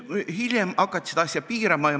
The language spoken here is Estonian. Hiljem hakati seda suhtumist piirama.